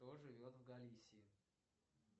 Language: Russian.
кто живет в галисии